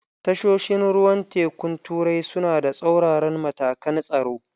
Tashoshin ruwan tekun turai suna da tsauraran matakan tsaro.